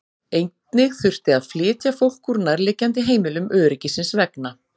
Einnig þurfti að flytja fólk úr nærliggjandi heimilum öryggisins vegna.